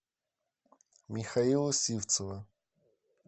михаила сивцева